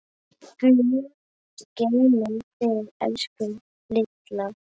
Guð geymi þig, elsku Lilla.